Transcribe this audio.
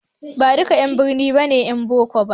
Baduka 'yan birni ne 'yan boko ba